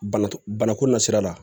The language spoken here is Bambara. Bana t bana kun na sira la